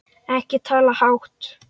Ekki tala hátt!